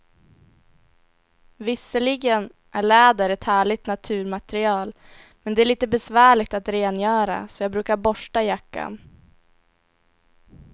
Visserligen är läder ett härligt naturmaterial, men det är lite besvärligt att rengöra, så jag brukar borsta jackan.